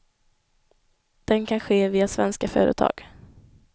Den kan ske via svenska företag.